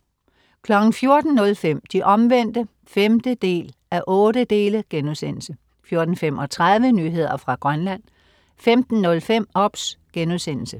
14.05 De Omvendte 5:8* 14.35 Nyheder fra Grønland 15.05 OBS*